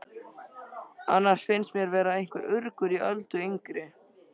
Annars finnst mér vera einhver urgur í Öldu yngri.